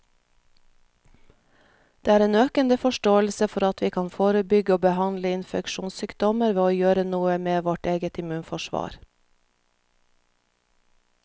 Det er en økende forståelse for at vi kan forebygge og behandle infeksjonssykdommer ved å gjøre noe med vårt eget immunforsvar.